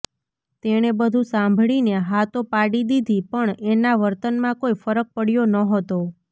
તેણે બધું સાંભળીને હા તો પાડી દીધી પણ એના વર્તનમાં કોઈ ફરક પડયો નહોતો